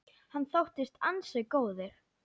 Hann þóttist ansi góður.